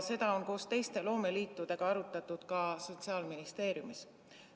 Seda on koos teiste loomeliitudega arutatud ka Sotsiaalministeeriumis.